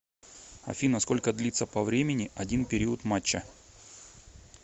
афина сколько длится по времени один период матча